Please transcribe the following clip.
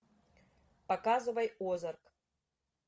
показывай озарк